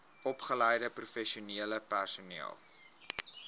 opgeleide professionele personeel